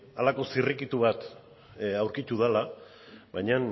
halako zirrikitu bat aurkitu dela baina